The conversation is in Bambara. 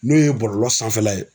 N'o ye bɔlɔlɔ sanfɛla ye